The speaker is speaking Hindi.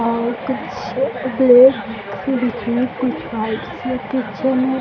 और कुछ ब्लैक बीच मे कुछ व्हाइट सी पीछे मे --